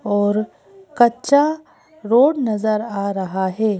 और कच्चा रोड नजर आ रहा है।